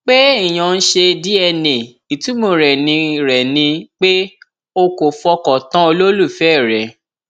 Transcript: pé èèyàn ń ṣe dna ìtumọ rẹ ni rẹ ni pé o kò fọkàn tán olólùfẹ rẹ